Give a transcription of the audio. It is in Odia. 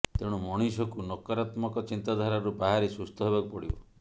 ତେଣୁ ମଣିଷକୁ ନକାରାତ୍ମକ ଚିନ୍ତାଧାରାରୁ ବାହାରି ସୁସ୍ଥ ହେବାକୁ ପଡ଼ିବ